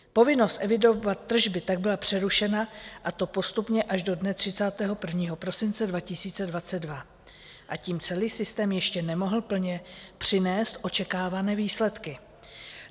Povinnost evidovat tržby tak byla přerušena, a to postupně až do dne 31. prosince 2022, a tím celý systém ještě nemohl plně přinést očekávané výsledky.